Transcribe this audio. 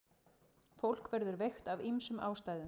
Fólk verður veikt af ýmsum ástæðum.